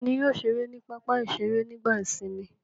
Ta ni yóò ṣeré ní pápá-ìṣeré nígbà ìsìnmi?